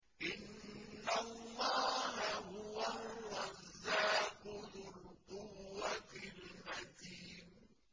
إِنَّ اللَّهَ هُوَ الرَّزَّاقُ ذُو الْقُوَّةِ الْمَتِينُ